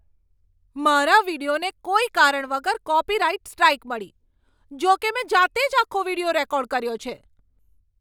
મારા વીડિયોને કોઈ કારણ વગર કૉપિરાઈટ સ્ટ્રાઈક મળી. જોકે મેં જાતે જ આખો વીડિયો રેકોર્ડ કર્યો છે.